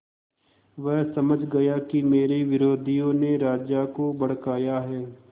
वह समझ गया कि मेरे विरोधियों ने राजा को भड़काया है